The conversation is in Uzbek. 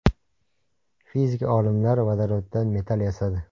Fizik olimlar vodoroddan metall yasadi.